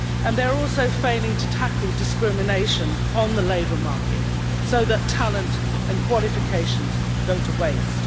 They are also failing to tackle discrimination on the labour market, so talent and qualifications are going to waste.